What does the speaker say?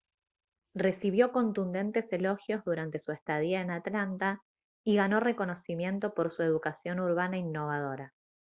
recibió contundentes elogios durante su estadía en atlanta y ganó reconocimiento por su educación urbana innovadora